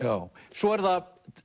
svo er það